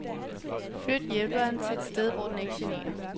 Flyt hjælperen til et sted hvor den ikke generer.